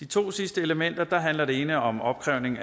to sidste elementer handler det ene om opkrævning